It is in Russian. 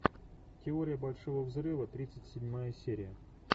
теория большого взрыва тридцать седьмая серия